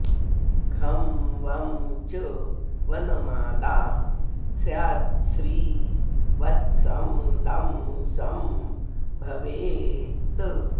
घं वं च वनमाला स्याच्छ्री वत्सं दं सं भवेत्